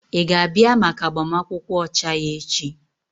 Ị ga-abịa maka agbamakwụkwọ ọcha ya echi?